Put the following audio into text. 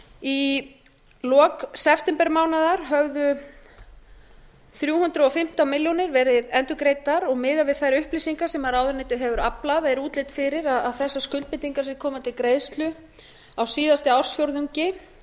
í lok septembermánaðar höfðu þrjú hundruð og fimmtán milljónir verið endurgreiddar og miðað við þær upplýsingar sem ráðuneytið hefur aflað er útlit fyrir að þessar skuldbindingar sem koma til greiðslu á síðasta ársfjórðungi